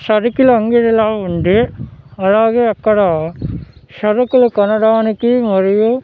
సరికిల అంగడిలా ఉంది అలాగే అక్కడ సరుకులు కొనడానికి మరియు --